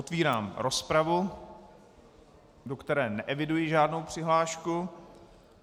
Otvírám rozpravu, do které neeviduji žádnou přihlášku.